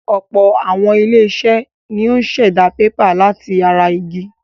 Ọ̀pọ̀ àwọn ilé-iṣẹ́ ni ó ń ṣẹ̀dá pépà láti ara igi.